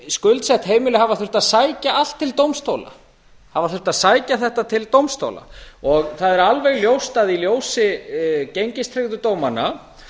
skuldsett heimili hafa þurft að sækja allt til dómstóla hafa þurft að sækja þetta til dómstóla það er alveg ljóst að í ljósi gengistryggðu dómanna